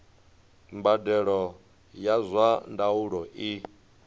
mbadelo ya zwa ndaulo i